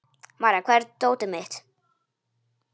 Marja, hvar er dótið mitt?